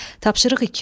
Tapşırıq iki.